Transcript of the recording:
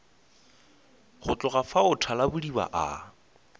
go tloga fao thalabodiba a